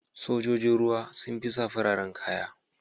Sojojin sama sun fi sa fararen kaya.